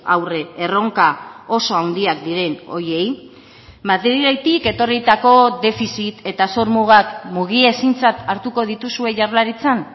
aurre erronka oso handiak diren horiei madriletik etorritako defizit eta zor mugak mugiezintzat hartuko dituzue jaurlaritzan